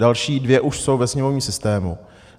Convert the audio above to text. Další dvě už jsou ve sněmovním systému.